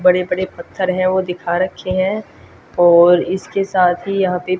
बड़े बड़े पत्थर हैं वो दिखा रखे हैं और इसके साथ ही यहां पे--